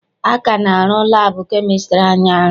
A ka na-arụ laabụ kemịstri anyị arụ.